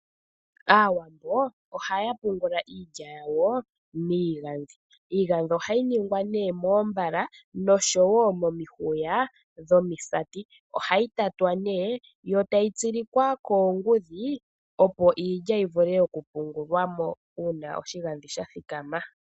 Aawambo ohaya pungula iilya yawo miigandhi. Iigandhi ohayi ningwa nee moombale noshowo momihuya dhomisaati. Ohayi tatwa nee, yo tayi tsilikwa koongudhi opo iilya yi vule oku pungulwa mo uuna oshigandhi sha thikama.